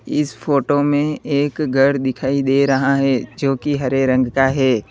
इस फोटो में एक घर दिखाई दे रहा है जो कि हरे रंग का है।